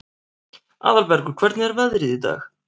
Aðalbergur, hvernig er veðrið í dag?